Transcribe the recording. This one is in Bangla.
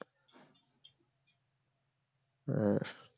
হ্যাঁ